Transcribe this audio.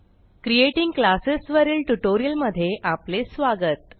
creating classes वरील ट्युटोरियलमधे आपले स्वागत